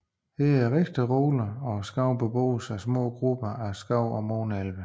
Her er mere roligt og skoven beboes af små grupper af skov og måne elvere